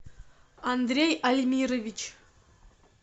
андрей альмирович